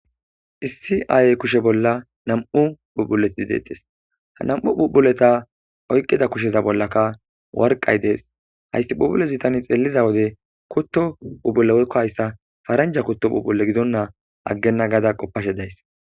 issi aayey kushe bolla nam7u phubuleti ideedes ha nam7u bubuleta oyqida kusheza bollaka warqay dees hayssi pubule zutani xeelliza wode kutto ubuleykko hayssa faranja kutto pubbule gidonnaa aggenna gaada qoppashe days